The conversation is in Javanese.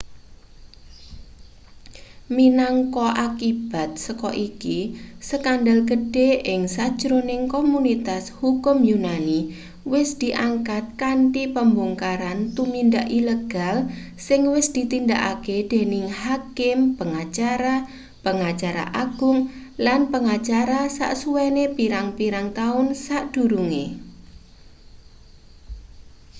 minangka akibat saka iki skandal gedhe ing sajroning komunitas hukum yunani wis diangkat kanthi pembongkaran tumindak ilegal sing wis ditindakake dening hakim pengacara pengacara agung lan pengacara sasuwene pirang-pirang taun sadurunge